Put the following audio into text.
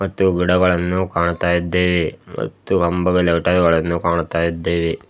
ಮತ್ತು ಗಿಡಗಳನ್ನು ಕಾಣುತ್ತಾ ಇದ್ದೇವೆ ಮತ್ತು ಕಾಣುತ್ತಾ ಇದ್ದೇವೆ.